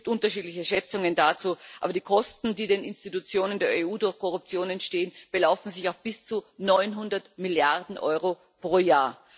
Es gibt unterschiedliche Schätzungen dazu, aber die Kosten, die den Institutionen der EU durch Korruption entstehen, belaufen sich auf bis zu 900 Milliarden Euro pro Jahr.